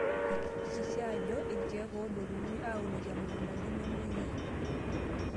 Hakikisha ajo ore irkiek edotuni aunokii emukunda nememoyiaa.